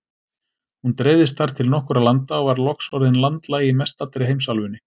Hún dreifðist þar til nokkurra landa og var loks orðin landlæg í mestallri heimsálfunni.